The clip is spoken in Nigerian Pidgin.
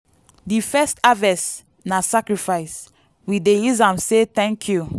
di first harvest na sacrifice—we dey use am say thank you.